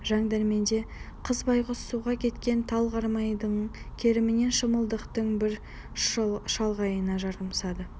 жандәрменде қыз байғұс суға кеткен тал қармайдының керімен шымылдықтың бір шалғайына жармасады